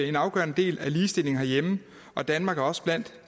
en afgørende del af ligestillingen herhjemme og danmark er også blandt